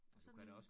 Og sådan